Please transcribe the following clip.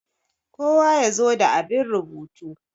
kowa ya zo da abin rubutu!